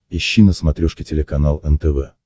ищи на смотрешке телеканал нтв